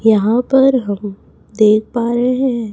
यहां पर हम देख पा रहे हैं।